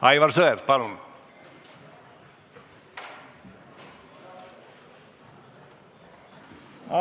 Aivar Sõerd, palun!